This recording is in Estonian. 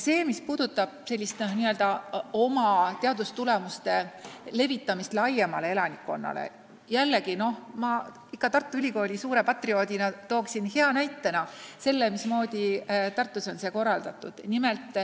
Mis puudutab meie teadustulemuste tutvustamist laiemale elanikkonnale, siis toon Tartu Ülikooli suure patrioodina näiteks, mismoodi see Tartus on korraldatud.